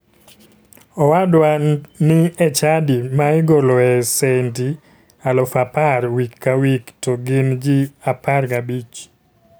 Owadwa ni e chadi ma igoloe sendi 10,000 wik ka wik to gin ji 15